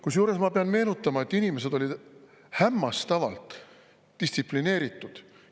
Kusjuures ma pean meenutama, et inimesed olid hämmastavalt distsiplineeritud.